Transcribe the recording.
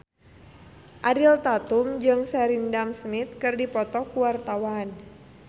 Ariel Tatum jeung Sheridan Smith keur dipoto ku wartawan